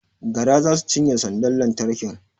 Gara za su cinye sandar lantarkin